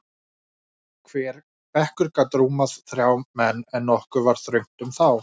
Hver bekkur gat rúmað þrjá menn, en nokkuð var þröngt um þá.